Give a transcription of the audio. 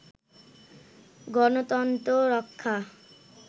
গণতন্ত্র রক্ষা